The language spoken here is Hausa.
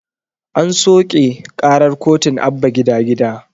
An soƙe ƙarar kotun abba gida gida